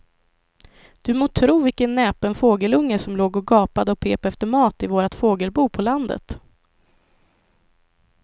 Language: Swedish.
Du må tro vilken näpen fågelunge som låg och gapade och pep efter mat i vårt fågelbo på landet.